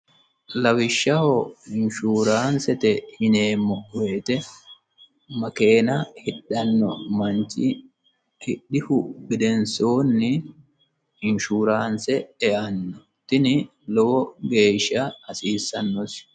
lawishshaho inshuuraansete yineemmo wote makeena hidhanno manchi hidhihu gedensoonni inshuraanse eanno tini lowo geeshsha hasiissannosi.